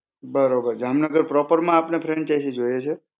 બરોબર. જામનગર proper માં આપને franchise જોઈએ છે?